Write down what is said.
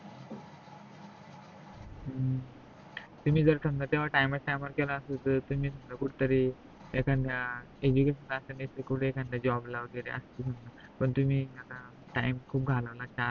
तुम्ही जर तेव्हा time, time वर केला असता तर तुम्ही कुठतरी एखाद job ला वगेरे असत पण तुम्ही आता time खूप झाला न